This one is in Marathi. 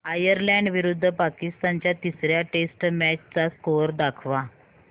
आयरलॅंड विरुद्ध पाकिस्तान च्या तिसर्या टेस्ट मॅच चा स्कोअर दाखवा